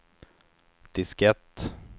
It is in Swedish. diskett